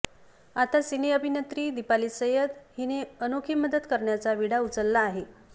आता सिने अभिनेत्री दिपाली सय्यद हीने अनोखी मदत करण्याचा विडा उचलला आहे